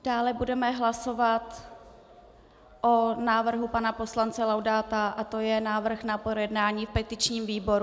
Dále budeme hlasovat o návrhu pana poslance Laudáta, a to je návrh na projednání v petičním výboru.